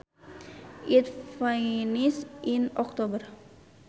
It finished in October